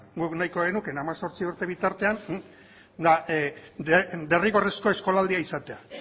guk nahiko genuke hemezortzi urte bitartean derrigorrezkoa eskolaldia izatea